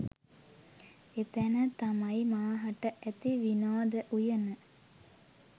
එතන තමයි මාහට ඇති විනෝද උයන